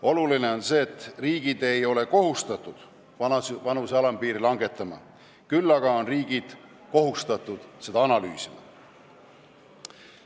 Oluline on see, et riigid ei ole kohustatud vanuse alampiiri langetama, kuid nad on kohustatud seda analüüsima.